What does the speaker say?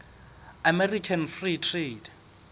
american free trade